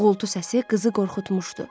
Uğultu səsi qızı qorxutmuşdu.